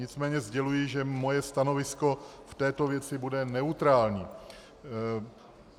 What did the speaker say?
Nicméně sděluji, že moje stanovisko v této věci bude neutrální.